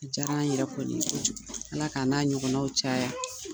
A diyar'an yɛrɛ kɔni ye kojugu. Ala k'a na ɲɔgɔnnaw caya.